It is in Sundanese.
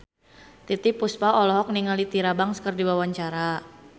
Titiek Puspa olohok ningali Tyra Banks keur diwawancara